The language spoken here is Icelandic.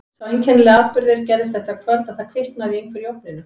Sá einkennilegi atburður gerðist þetta kvöld að það kviknaði í einhverju í ofninum.